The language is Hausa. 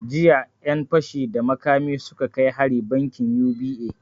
Jiya ƴan fashi da makami suka kai hari bankin U.B.A